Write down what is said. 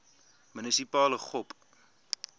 munisipale gop